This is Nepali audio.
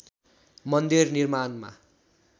मन्दिर निर्माणमा